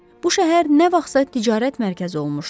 Bu şəhər nə vaxtsa ticarət mərkəzi olmuşdu.